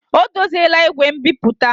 O dozila igwe nbipute.